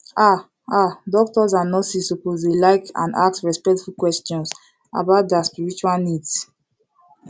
ah ah doctors and nurses suppose to like and ask respectful questions about dia spiritual needs